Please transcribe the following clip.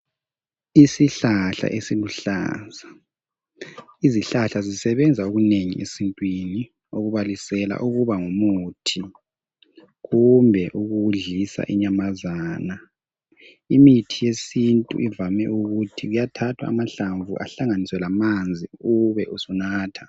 Isihlahla eziluhlaza izihlahla zisebenza okunengi esintwini okubalisela ukuba ngumuthi kumbe ukudlisa inyamazana. Imithi yesintu ivame ukuthi kuyathathwa amahlamvu ehlanganiswe lamanzi ube usunatha